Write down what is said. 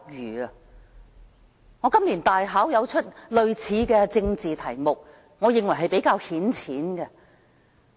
我在今年的大考出過類似的政治題目，我認為是比較顯淺。